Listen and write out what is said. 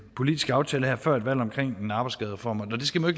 politisk aftale her før et valg om en arbejdsskadereform det skal man